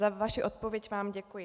Za vaši odpověď vám děkuji.